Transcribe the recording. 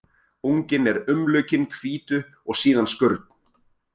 Unginn er umlukinn hvítu og síðan skurn.